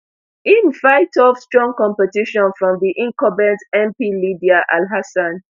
im fight off strong competition from di incumbent mp lydia alhassan